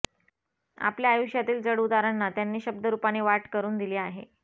आपल्या आयुष्यातील चढउतारांना त्यांनी शब्दरूपाने वाट करून दिली आहे